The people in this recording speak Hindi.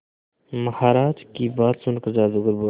महाराज की बात सुनकर जादूगर बोला